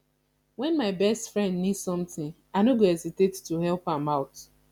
when my best friend need something i no go hesitate to help am out